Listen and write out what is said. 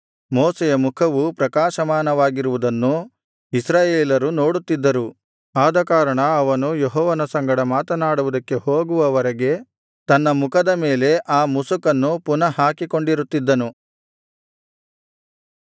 ಮೋಶೆಯ ಮುಖವು ಪ್ರಕಾಶಮಾನವಾಗಿರುವುದನ್ನು ಇಸ್ರಾಯೇಲರು ನೋಡುತ್ತಿದ್ದರು ಆದಕಾರಣ ಅವನು ಯೆಹೋವನ ಸಂಗಡ ಮಾತನಾಡುವುದಕ್ಕೆ ಹೋಗುವವರೆಗೆ ತನ್ನ ಮುಖದ ಮೇಲೆ ಆ ಮುಸುಕನ್ನು ಪುನಃ ಹಾಕಿಕೊಂಡಿರುತ್ತಿದ್ದನು